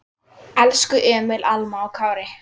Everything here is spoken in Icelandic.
Elsku Emil, Alma og Kári.